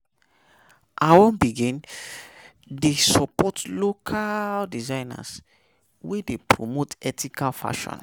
I wan begin dey support local designers wey dey promote ethical fashion.